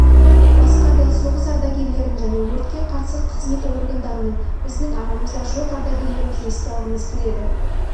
басқа да соғыс ардагерлерін және өртке қарсы қызмет органдарының біздің арамызда жоқ ардагерлерімізді еске алғымыз келеді